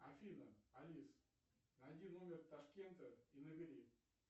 афина алиса найди номер ташкента и набери